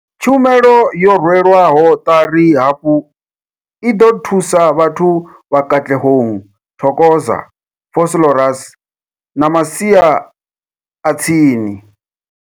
Tshumelo yo rwelwaho ṱari hafhu i ḓo thusa vhathu vha Katlehong, Thokoza, Vosloorus na masia a tsini.